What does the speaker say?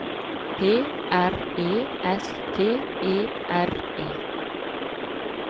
P R E S T E R E